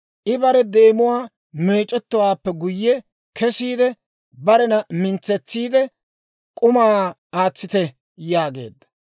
I bare deemuwaa meec'ettowaappe guyye kesiide, barena mintsetsiide, «K'umaa aatsite» yaageedda.